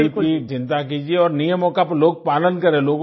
गरीब की चिन्ता कीजिये और नियमों का लोग पालन करें